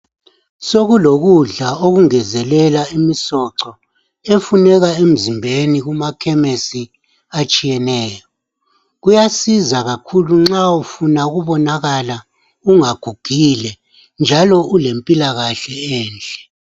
Sokulokudla okungezelela imisoco efuneka emzimbeni kuma khemisi atshiyeneyo .Kuyasiza kakhulu nxa ufuna ukubonakala ungagugile njalo ulempilakahle enhle .